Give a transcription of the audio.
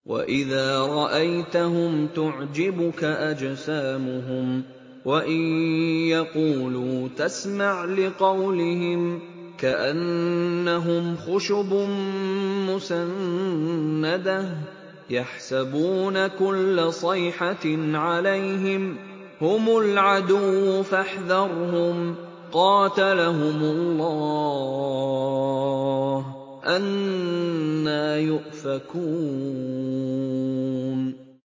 ۞ وَإِذَا رَأَيْتَهُمْ تُعْجِبُكَ أَجْسَامُهُمْ ۖ وَإِن يَقُولُوا تَسْمَعْ لِقَوْلِهِمْ ۖ كَأَنَّهُمْ خُشُبٌ مُّسَنَّدَةٌ ۖ يَحْسَبُونَ كُلَّ صَيْحَةٍ عَلَيْهِمْ ۚ هُمُ الْعَدُوُّ فَاحْذَرْهُمْ ۚ قَاتَلَهُمُ اللَّهُ ۖ أَنَّىٰ يُؤْفَكُونَ